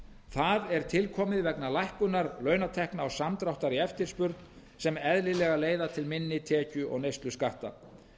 það er tilkomið vegna lækkunar launatekna og samdráttar í eftirspurn sem eðlilega leiða til minni tekju og neysluskatta